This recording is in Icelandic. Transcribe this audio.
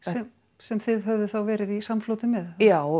sem þið höfðuð þá verið í samfloti með já